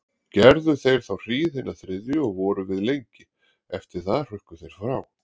Gerðu þeir þá hríð hina þriðju og voru við lengi, eftir það hrukku þeir frá.